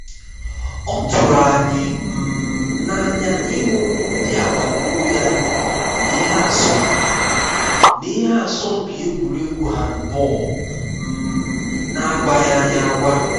ọ tụrụ anyị um na anya ịhụ ndị agbata obi anyị na ihe asọmpi na ihe asọmpi egwuregwu handball um na agwaghị anyị agwa